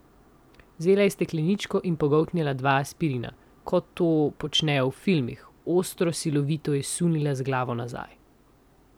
Vzela je stekleničko in pogoltnila dva aspirina, kot to počnejo v filmih, ostro, silovito je sunila z glavo nazaj.